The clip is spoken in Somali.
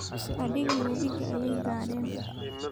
Adhigii webiga ayay gaadheen